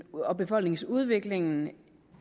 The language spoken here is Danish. og befolkningsudviklingen